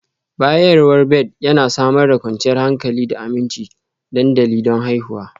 Bayarwa Bed Yana Samar da kwanciyar hankali da aminci dandali don haihuwa